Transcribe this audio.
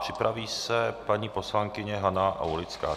Připraví se paní poslankyně Hana Aulická.